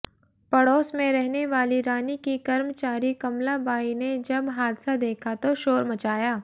पड़ोस में रहने वाली रानी की कर्मचारी कमलाबाई ने जब हादसा देखा तो शोर मचाया